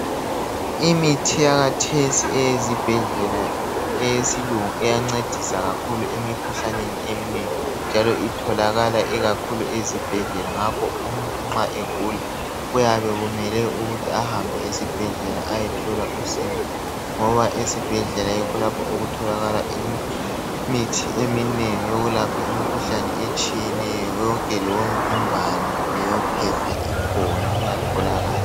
Imithi yakathesi eyezibhedlela eyesilungu iyancedisa kakhulu emikhuhlaneni eminengi njalo itholakala ikakhulu ezibhedlela ngokho umuntu nxa egula kuyabe kumele ukuthi ahambe esibhedlela ayethola usizo ngoba esibhedlela yikho lapho okutholakala imithi eminingi yokulapha imikhuhlane etshiyeneyo yonke leyo mvimbano leyo phepha ikhona iyatholakala